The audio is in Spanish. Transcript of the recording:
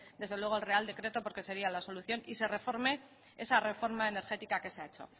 desde luego el real decreto porque sería la solución y se reforme esa reforma energética que se ha hecho